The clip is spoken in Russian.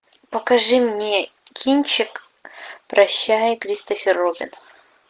покажи мне кинчик прощай кристофер робин